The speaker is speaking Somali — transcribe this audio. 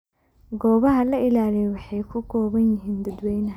Goobaha la ilaaliyo waxay ku kooban yihiin dadweynaha.